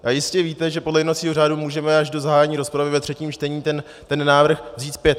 A jistě víte, že podle jednacího řádu můžeme až do zahájení rozpravy ve třetím čtení ten návrh vzít zpět.